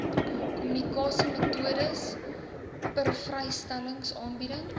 kommunikasiemetodes persvrystellings aanbiedings